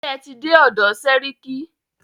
Ṣé ẹ tí dé ọ̀dọ̀ sẹ́ríkí?